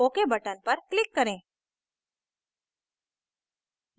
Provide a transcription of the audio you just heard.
ok button पर click करें